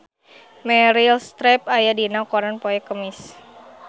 Meryl Streep aya dina koran poe Kemis